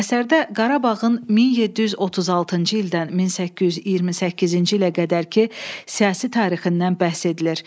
Əsərdə Qarabağın 1736-cı ildən 1828-ci ilə qədərki siyasi tarixindən bəhs edilir.